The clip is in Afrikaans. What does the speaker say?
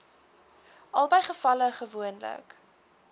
albei gevalle gewoonlik